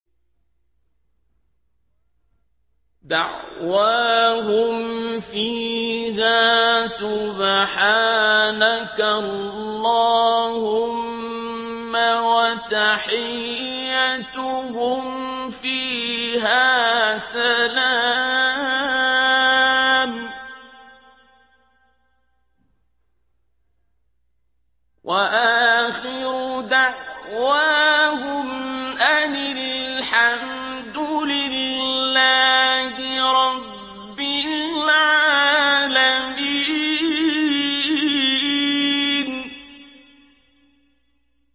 دَعْوَاهُمْ فِيهَا سُبْحَانَكَ اللَّهُمَّ وَتَحِيَّتُهُمْ فِيهَا سَلَامٌ ۚ وَآخِرُ دَعْوَاهُمْ أَنِ الْحَمْدُ لِلَّهِ رَبِّ الْعَالَمِينَ